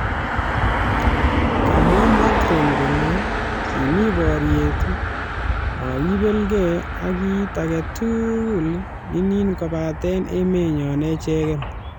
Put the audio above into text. Kamwaa Macron kole kimi boryet makibeligee ak kit agetul nin kobaten emenyon echeken